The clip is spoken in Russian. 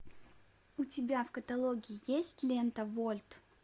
у тебя в каталоге есть лента вольт